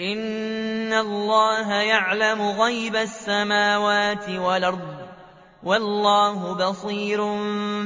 إِنَّ اللَّهَ يَعْلَمُ غَيْبَ السَّمَاوَاتِ وَالْأَرْضِ ۚ وَاللَّهُ بَصِيرٌ